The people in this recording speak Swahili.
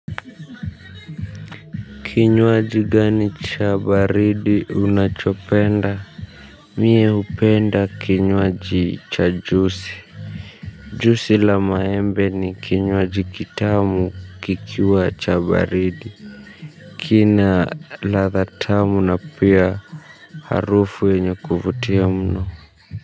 Kinywaji gani cha baridi unachopenda. Mie hupenda kinywaji cha juisi. Juisi la maembe ni kinywaji kitamu kikiwa cha baridi. Kina ladha tamu na pia harufu wenye kuvutia mno.